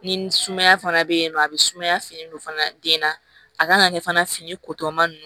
Ni sumaya fana bɛ yen nɔ a bɛ sumaya fini don fana den na a kan ka kɛ fana fini kotɔ man